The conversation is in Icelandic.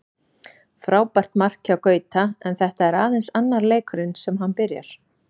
Frábært mark hjá Gauta, en þetta er aðeins annar leikurinn sem hann byrjar.